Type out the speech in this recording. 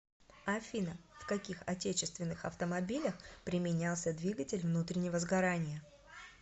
афина в каких отечественных автомобилях применялся двигатель внутреннего сгорания